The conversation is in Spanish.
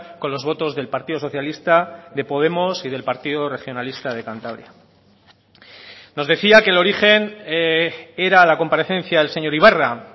con los votos del partido socialista de podemos y del partido regionalista de cantabria nos decía que el origen era la comparecencia del señor ibarra